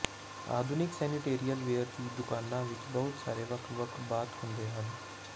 ਆਧੁਨਿਕ sanitary ware ਦੀਆਂ ਦੁਕਾਨਾਂ ਵਿੱਚ ਬਹੁਤ ਸਾਰੇ ਵੱਖ ਵੱਖ ਬਾਥ ਹੁੰਦੇ ਹਨ